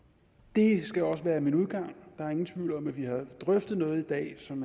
det skal også være min udgang der er ingen tvivl om at vi har drøftet noget i dag som